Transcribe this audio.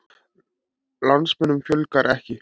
Landsmönnum fjölgar ekki